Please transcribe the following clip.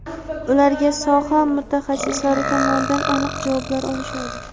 ularga soha mutaxassislari tomonidan aniq javoblar olishadi.